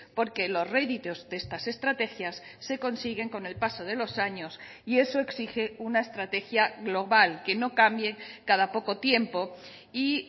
porque los réditos de estas estrategias se consiguen con el paso de los años y eso exige una estrategia global que no cambie cada poco tiempo y